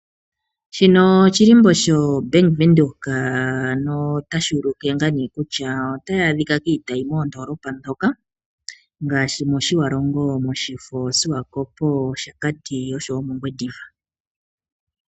Shino oshilimbo sho Bank Windhoek, notashi ulike ngaa nee kutya otayi adhika kiitayi moondolopa ndhoka ngaashi mOtjiwarongo, mOshifo, Swakopo, Oshakati nosho wo mOngwediva.